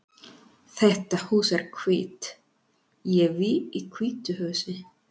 Þetta hús er hvítt. Ég bý í hvítu húsi.